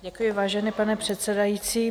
Děkuji, vážený pane předsedající.